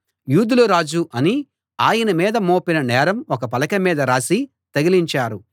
యూదుల రాజు అని ఆయన మీద మోపిన నేరం ఒక పలక మీద రాసి తగిలించారు